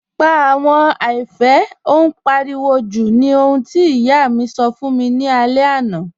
Pà àwọn àìpẹ̀, ó n páriwò jú̀ ní òhun tí iyà mi sọ́ fún mi ni àlẹ̀ àná